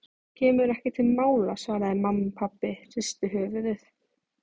Kemur ekki til mála svaraði mamma og pabbi hristi höfuðið.